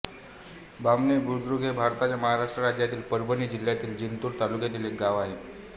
बामणी बुद्रुक हे भारताच्या महाराष्ट्र राज्यातील परभणी जिल्ह्यातील जिंतूर तालुक्यातील एक गाव आहे